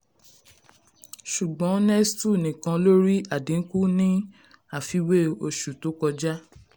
ṣùgbọ́n nestlé nìkan ló rí àdínkù ní àfiwé oṣù tó kọjá.